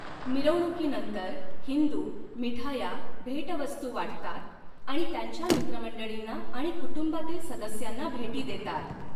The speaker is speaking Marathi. मिरवणुकीनंतर हिंदू मिठाया, भेटवस्तू वाटतात आणि त्यांच्या मित्रमंडळींना आणि कुटुंबातील सदस्यांना भेटी देतात.